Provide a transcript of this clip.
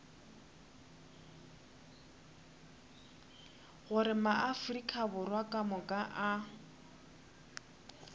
gore maafrika borwa kamoka a